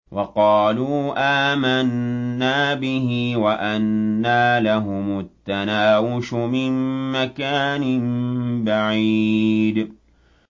وَقَالُوا آمَنَّا بِهِ وَأَنَّىٰ لَهُمُ التَّنَاوُشُ مِن مَّكَانٍ بَعِيدٍ